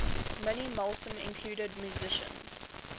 minimalism include musicians